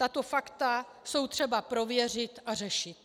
Tato fakta je třeba prověřit a řešit.